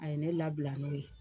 A ye ne labila n'o ye.